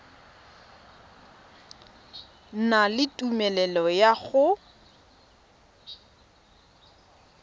na le tumelelo ya go